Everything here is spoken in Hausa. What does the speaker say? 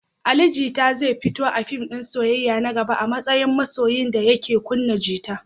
Ali Jita zai fito a fim din soyayya na gaba a matsayin masoyi da yake kunna gita.